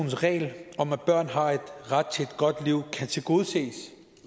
regel om at børn har ret til et godt liv kan tilgodeses